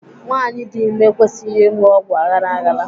Nwaanyi dị ime ekwesịghị ịṅụ ọgwụ aghara aghara.